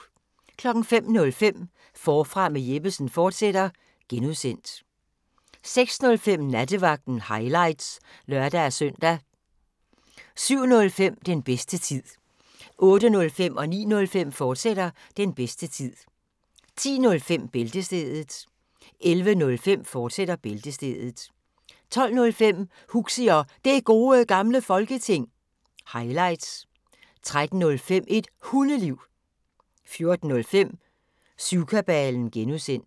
05:05: Forfra med Jeppesen fortsat (G) 06:05: Nattevagten – highlights (lør-søn) 07:05: Den bedste tid 08:05: Den bedste tid, fortsat 09:05: Den bedste tid, fortsat 10:05: Bæltestedet 11:05: Bæltestedet, fortsat 12:05: Huxi og Det Gode Gamle Folketing – highlights 13:05: Et Hundeliv 14:05: Syvkabalen (G)